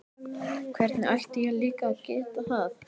Hvernig ætti ég líka að geta það?